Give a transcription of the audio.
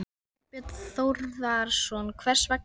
Þorbjörn Þórðarson: Hvers vegna?